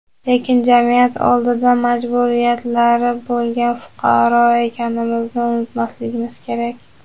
lekin jamiyat oldida majburiyatlari bo‘lgan fuqaro ekanimizni unutmasligimiz kerak.